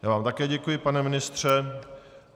Já vám také děkuji, pane ministře.